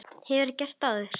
Hefurðu gert það áður?